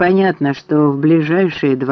понятно что в ближайшее